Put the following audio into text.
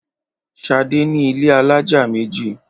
Ṣadé ní ilé alájà méjì.